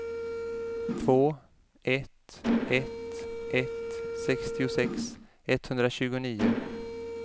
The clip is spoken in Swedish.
två ett ett ett sextiosex etthundratjugonio